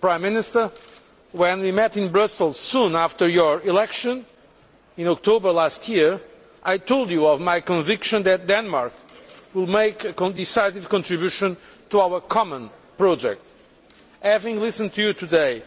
Prime Minister, when we met in Brussels soon after your election in October last year, I told you of my conviction that Denmark would make a decisive contribution to our common European project. Having listened to you today,